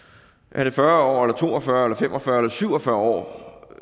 er det fyrre år eller to og fyrre år eller fem og fyrre år eller syv og fyrre år